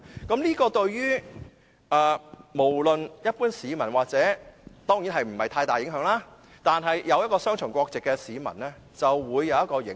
這項修改對於一般市民當然影響不大，但對擁有雙重國籍的市民就會有影響。